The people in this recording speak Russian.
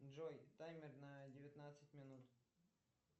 джой таймер на девятнадцать минут